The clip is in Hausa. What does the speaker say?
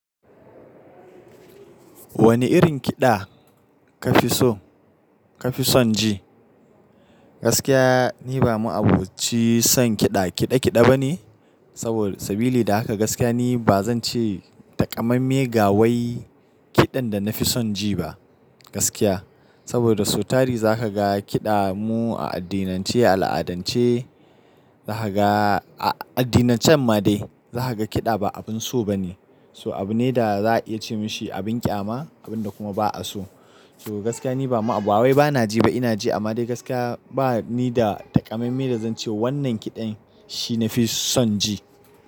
Wani irin kiɗa ka fi so, ka fi son ji? Gaskiya, ni ba mu aboci son kiɗa kiɗa kiɗa bane. Saboda sabilli da haka gaskiya ni ba zan ce takamame ga wai kiɗan da na fi son ji ba, gaskiya. Saboda da so tari za ka ga kiɗa mu a addinin ce, al'adance, za ka ga a addinan can ma dai za ka ga kiɗa ba abin so ba ne. So abu ne da za a iya ce masa abin ƙyama, abun da kuma ba a so. So gaskiya ni ba ma abu, awai ba na ji ba ina ji amma dai gaskiya ba ni da takamaime da zan ce wannan kiɗan shi na fi son ji.